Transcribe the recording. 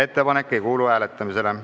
Ettepanek ei kuulu hääletamisele.